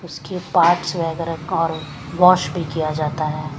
उसके पार्ट्स में कारों वॉश भी किया जाता हैं।